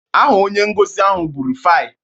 Aha onye ngosi ahụ bụ Rufai